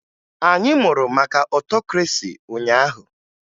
Anyị mụrụ maka ọtokresi ụnyaahụ